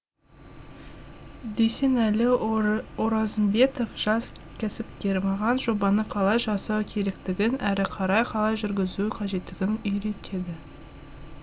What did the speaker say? дүйсенәлі оразымбетов жас кәсіпкер маған жобаны қалай жасау керектігін әрі қарай қалай жүргізу қажеттігін үйретеді